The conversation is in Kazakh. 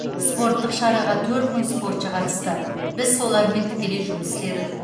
спорттық шараға төрт мың спортшы қатысты біз солармен тікелей жұмыс істедік